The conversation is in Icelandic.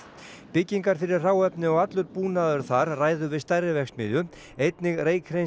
byggingar fyrir hráefni og allur búnaður þar ræður við stærri verksmiðju einnig